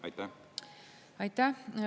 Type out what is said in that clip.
Aitäh!